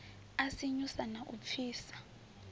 a sinyusa na u pfisa